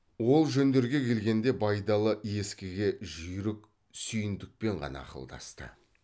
ол жөндерге келгенде байдалы ескіге жүйрік сүйіндікпен ғана ақылдасты